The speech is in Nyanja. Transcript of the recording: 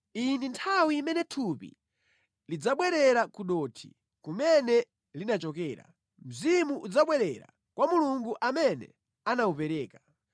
Iyi ndi nthawi imene thupi lidzabwerera ku dothi, kumene linachokera, mzimu udzabwerera kwa Mulungu amene anawupereka.